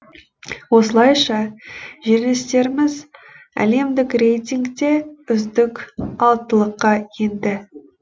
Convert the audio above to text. осылайша жерлестеріміз әлемдік рейтингте үздік алтылыққа енді